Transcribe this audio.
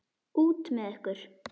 Út með ykkur!